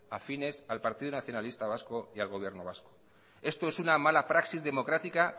afines al partido nacionalista vasco y al gobierno vasco esto es una mala praxis democrática